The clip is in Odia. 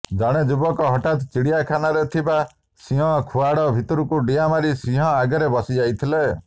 ଜଣେ ଯୁବକ ହଠାତ୍ ଚିଡ଼ିଆଖାନାରେ ଥିବା ସିଂହ ଖୁଆଡ଼ ଭିତରକୁ ଡିଆଁ ମାରି ସିଂହ ଆଗରେ ବସିଯାଇଥିଲେ